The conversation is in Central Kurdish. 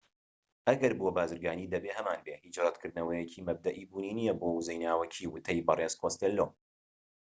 ئەگەر بووە بازرگانی دەبێت هەمانبێت هیچ ڕەتکردنەوەیەکی مەبدەئی بوونی نیە بۆ وزەی ناوەکی وتەی بەرێز کۆستێلۆ